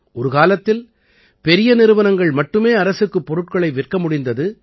ஒரு காலத்தில் பெரிய நிறுவனங்கள் மட்டுமே அரசுக்குப் பொருட்களை விற்க முடிந்தது